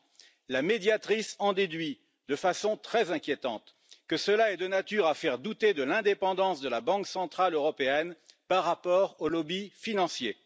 30. La Médiatrice en déduit de façon très inquiétante que cela est de nature à faire douter de l'indépendance de la Banque centrale européenne par rapport aux lobbies financiers.